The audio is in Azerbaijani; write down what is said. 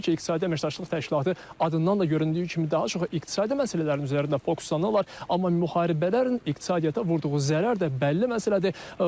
Təbii ki, İqtisadi Əməkdaşlıq Təşkilatı adından da göründüyü kimi daha çox iqtisadi məsələlərin üzərində fokuslanırlar, amma müharibələrin iqtisadiyyata vurduğu zərər də bəlli məsələdir.